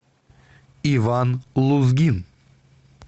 иван лузгин